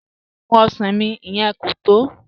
Kẹ́mí n mú ọṣàn mí, ìyẹn kò tọ́